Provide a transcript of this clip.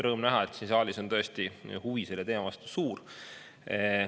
Rõõm näha, et siin saalis on tõesti huvi selle teema vastu suur.